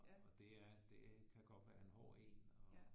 Og det er det kan godt være en hård en og